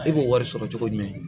E b'o wari sɔrɔ cogo jumɛn